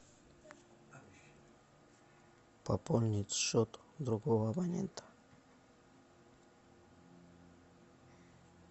пополнить счет другого абонента